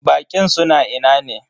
Baƙin suna ina ne?